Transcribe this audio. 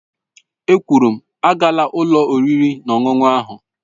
È kwụrụ m, aagala ụlọ oriri na ọṅụṅụ ahụ!